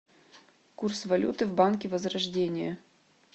курс валюты в банке возрождение